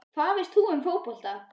Hvað veist þú um fótbolta?